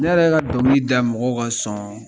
Ne yɛrɛ ka dɔnkili da mɔgɔw ka sɔn